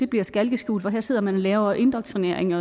bliver skalkeskjul her sidder man og laver indoktrinering med